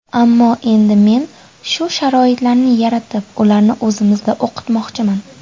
Ammo endi men shu sharoitlarni yaratib, ularni o‘zimizda o‘qitmoqchiman.